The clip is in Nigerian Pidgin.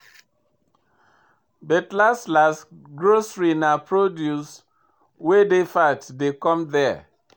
But last last, grocery na produce wey dey fat dey come there.